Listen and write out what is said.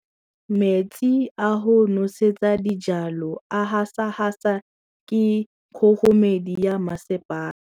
Metsi a go nosetsa dijalo a gasa gasa ke kgogomedi ya masepala.